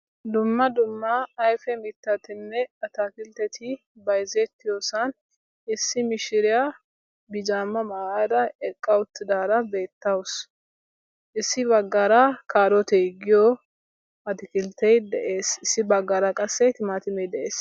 dumma dumma ayife mittatinne ataakiltteti bayzettiyosan issi mishiriya bijaamaa mayada eqqa uttidaara beettawusu. issi baggaara kaaroote giyo atakiltte issi baggaara qassi timatimee de'es.